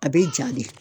A bɛ ja de